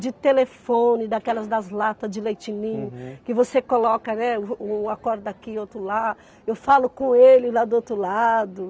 De telefone, daquelas das latas de leite ninho. Uhum. Que você coloca, né, uma corda aqui, outro lá, eu falo com ele lá do outro lado.